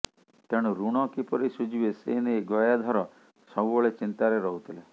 ତେଣୁ ଋଣ କିପରି ସୁଝିବେ ସେ ନେଇ ଗୟାଧର ସବୁବେଳେ ଚିନ୍ତାରେ ରହୁଥିଲେ